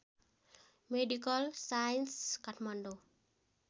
medical science Kathmandu